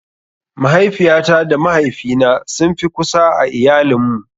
Mahaifiyata da mahaifina sun fi kusa a iayalin mu.